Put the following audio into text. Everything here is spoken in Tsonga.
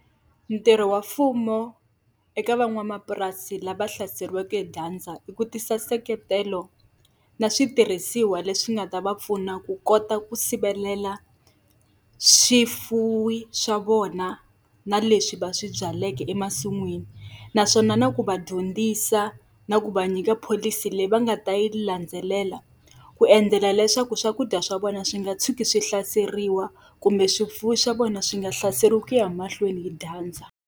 Ntirho wa mfumo eka van'wamapurasi lava hlaseriweke hi dyandza i ku tisa nseketelo na switirhisiwa leswi nga ta va pfuna ku kota ku sivelela swifuwo swa vona na leswi va swi byaleke emasin'wini. Naswona na ku va dyondzisa na ku va nyika pholisi leyi va nga ta yi landzelela, ku endzela leswaku swakudya swa vona swi nga tshuki swi hlaseriwa kumbe swifuwo swa vona swi nga hlaseriwi hi ku ya mahlweni hi dyandza.